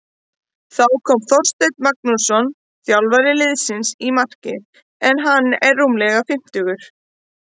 Þá kom Þorsteinn Magnússon þjálfari liðsins í markið en hann er rúmlega fimmtugur.